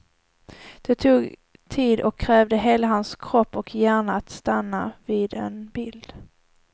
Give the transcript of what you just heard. Det tog tid och krävde hela hans kropp och hjärna att stanna vid en bild.